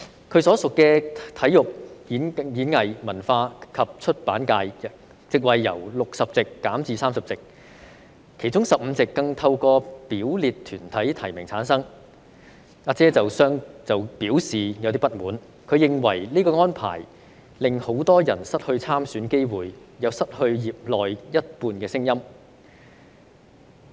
她所屬的體育、演藝、文化及出版界，席位由60席減至30席，其中15席更透過表列團體提名產生，"阿姐"對此表示不滿，她認為這項安排令很多人失去參選機會，亦失去業內一半聲音。